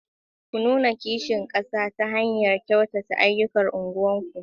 Ku nuna kishin kasa ta hanyar kyautata ayyukan unguwarku.